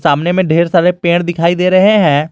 सामने में ढेर सारे पेड़ दिखाई दे रहे हैं।